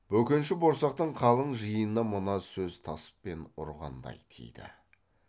бөкенші борсақтың қалың жиынына мына сөз таспен ұрғандай тиді